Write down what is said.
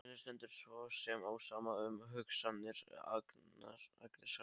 Henni stendur svo sem á sama um hugsanir Agnesar.